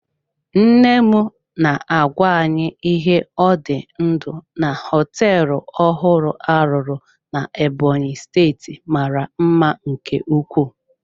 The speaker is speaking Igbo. Nne m na-agwa anyị ihe ọ dị ndụ na họteelụ ọhụrụ a rụrụ na Ebonyi steeti mara mma nke ukwuu.